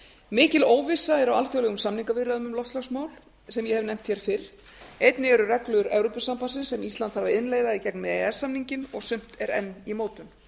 mikil óvissa er á alþjóðlegum samningaviðræðum um loftslagsmál sem ég hef nefnt hér fyrr einnig eru reglur evrópusambandsins sem ísland þarf að innleiða í gegnum e e s samninginn og sumt er enn í mótun